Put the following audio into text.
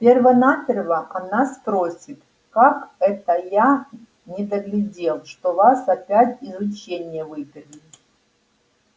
перво-наперво она спросит как это я недоглядел что вас опять из ученья выперли